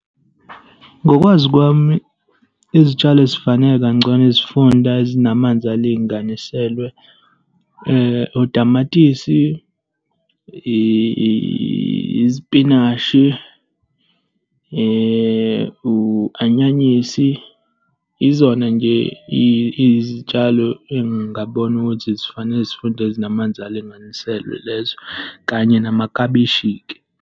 Ngokwazi kwami, izitshalo ezifanele kangcono izifunda ezinamanzi alinganiselwe utamatisi izipinashi, u-anyanyisi. Izona nje izitshalo engibona ukuthi zifanele zifunda ezinamanzi alinganiselwe lezo, kanye namakhabishi-ke.